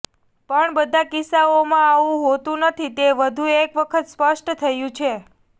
પણ બધા કિસ્સાઓમાં આવું હોતું નથી તે વધુ એકવખત સ્પષ્ટ થયું છે